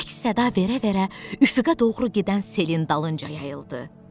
Əks-səda verə-verə üfüqə doğru gedən selin dalınca yayıldı.